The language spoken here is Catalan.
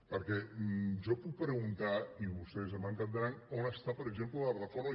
perquè jo puc preguntar i vostès m’entendran on està per exemple la reforma